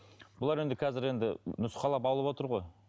бұлар енді қазір енді нұскаулап алып отыр ғой